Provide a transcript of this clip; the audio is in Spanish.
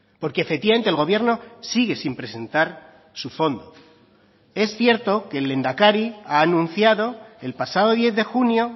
porque efectivamente el gobierno sigue sin presentar su fondo es cierto que el lehendakari ha anunciado el pasado diez de junio